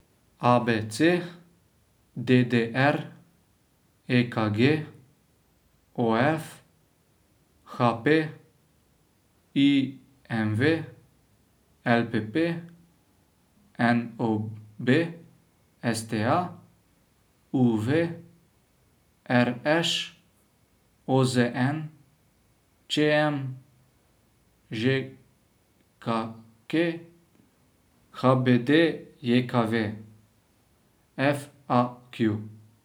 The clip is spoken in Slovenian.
A B C; D D R; E K G; O F; H P; I M V; L P P; N O B; S T A; U V; R Š; O Z N; Č M; Ž K K; H B D J K V; F A Q.